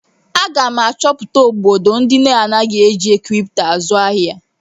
Aga m achọpụta obodo ndị anaghị eji kripto azụ ihe.